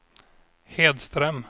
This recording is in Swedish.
Hedström